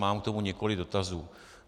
Mám k tomu několik dotazů.